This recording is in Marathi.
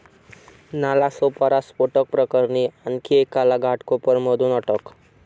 नालासोपारा स्फोटक प्रकरणी आणखी एकाला घाटकोपरमधून अटक